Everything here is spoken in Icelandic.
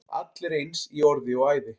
Allir eins í orði og æði.